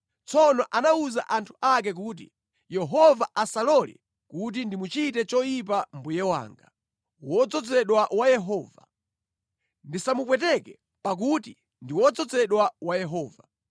Tsono anawuza anthu ake kuti, “Yehova asalole kuti ndimuchite choyipa mbuye wanga, wodzozedwa wa Yehova. Ndisamupweteke pakuti ndi wodzozedwa wa Yehova.”